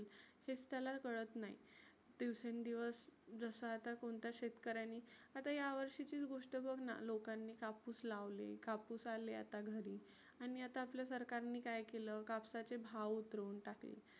हेच त्याला कळत नाही. दिवसेंदिवस जसा आता कोणत्या शेतकऱ्यानी आता ह्या वर्षीचीच गोष्ट बघना लोकांनी कापुस लावले कापुस आले आता घरी. आणि आपल्या सरकारने काय केलं कापसाचे भाव उतरुण टाकले.